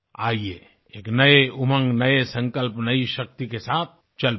आइये एक नए उमंग नए संकल्प नई शक्ति के साथ चल पड़ें